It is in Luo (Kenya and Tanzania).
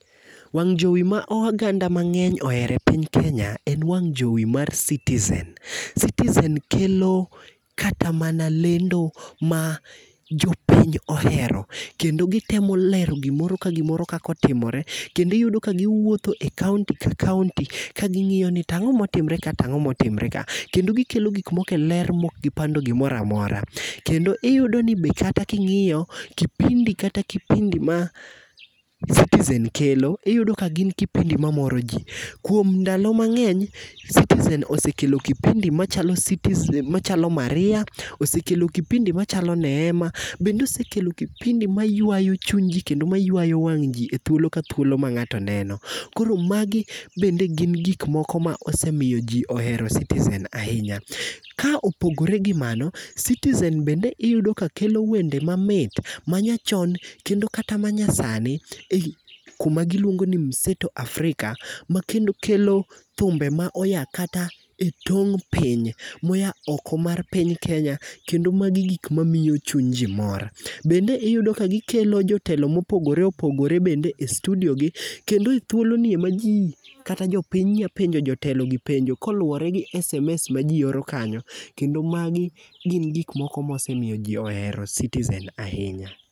Wang' jowi ma oganda mangény ohero e piny Kenya, en Wang' jowi mar Citizen. Citizen kelo kata mana lendo ma jopiny ohero. Kendo gitemo lero gimoro ka gimoro kaka otimore, kendo iyudo ka giwuotho e county ka county ka gingíyo ni to ang'o motimre ka, tangó motimre ka. Kendo gikelo gik moko e ler mok gipando gimoro amora. Kendo iyudo ni be kata kingíyo, kipindi kata kipindi ma Citizen kelo, iyudo ka gin kipindi mamoro ji. Kuom ndalo mangény, Citizen osekelo kipindi machalo, machalo Maria, osekelo kipindi machalo Neema, bende osekelo kipindi maywayo chunyji, kendo ma ywayo wang'ji e thuolo ka thuolo ma ngáto neno. Koro magi bende gin gik moko ma osemiyo ji ohero Citizen ahinya. Ka opogore gi mano, Citizen bende iyudo ka kelo wende mamit, ma nyachon, kendo kata ma nyasani. Ei kuma giluongoni Mseto Africa, ma kendo kelo thumbe ma moya kata e tong piny, moya oko mar piny Kenya, kendo magi gik ma miyo chuny ji mor. Bende iyudo ka gikelo jotelo mopogore opogore bende e studiogi , kendo e thuoloni ema ji, kata jopiny nyalo penjo jotelo gi penjo ka oluwore gi SMS ma ji oro kanyo. Kendo magi gin gik moko mosemiyo ji ohero Citizen ahinya.